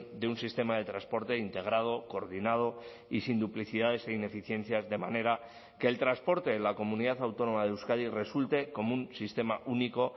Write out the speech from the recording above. de un sistema de transporte integrado coordinado y sin duplicidades e ineficiencias de manera que el transporte en la comunidad autónoma de euskadi resulte como un sistema único